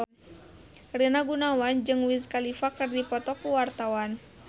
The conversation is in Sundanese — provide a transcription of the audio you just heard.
Rina Gunawan jeung Wiz Khalifa keur dipoto ku wartawan